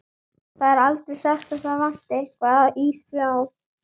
Það er aldrei sagt að það vanti eitthvað í þá.